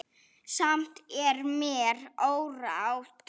Samt er mér órótt.